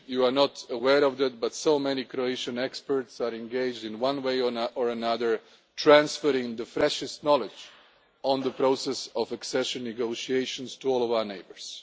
You are not aware of that, but so many Croatian experts are engaged in one way or another, transferring the freshest knowledge on the process of accession negotiations to all of our neighbours.